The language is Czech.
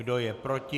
Kdo je proti?